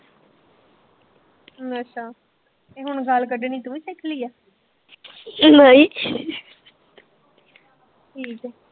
ਅੱਛਾ ਤੇ ਹੁਣ ਗਾਲ ਕੱਢਣੀ ਤੂੰ ਵੀ ਸਿਖ ਲਈ ਐ ਠੀਕ ਐ।